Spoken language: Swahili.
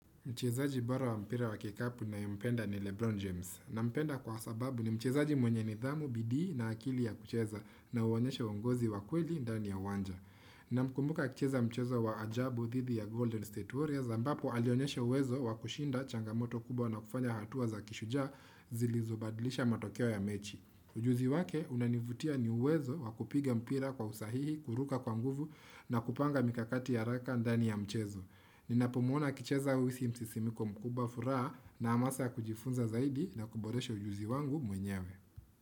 Mchezaji bora wa mpira wa kikapu na ye mpenda ni Lebron James. Na mpenda kwa sababu ni mchezaji mwenye ni dhamu bidii na akili ya kucheza na uonyesha uongozi wa kweli ndani ya wanja. Na mkumbuka akicheza mchezo wa ajabu dhidi ya Golden State Warriors ambapo alionyesha uwezo wakushinda changamoto kubwa na kufanya hatua za kishujaa zilizobadlisha matokeo ya mechi. Ujuzi wake unanivutia ni uwezo wakupiga mpira kwa usahihi kuruka kwa nguvu na kupanga mikakati ya raka ndani ya mchezo. Nina pomuona akicheza huisi msisimiko mkubwa furaha na amasa kujifunza zaidi na kuboresha ujuzi wangu mwenyewe.